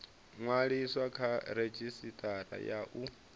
ṅwaliswa kha redzhisitara ya u